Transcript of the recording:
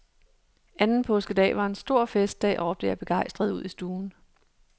Anden påskedag var en stor festdag, råbte jeg begejstret ud i stuen.